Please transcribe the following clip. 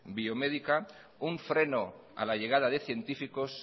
biomédica un freno a la llegada de científicos